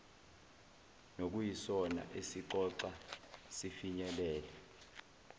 nokuyisona esixoxa sifinyelele